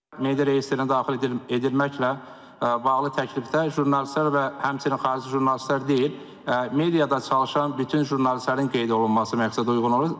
Media reyestrinə daxil edilməklə bağlı təklifdə jurnalistlər və həmçinin xarici jurnalistlər deyil, mediada çalışan bütün jurnalistlərin qeyd olunması məqsədəuyğun olur.